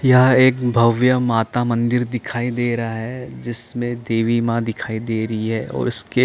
यहाँ एक भव्य माता मंदिर दिखाई दे रहा है जिसमे देवी माँ दिखाई दे रही है और उसके--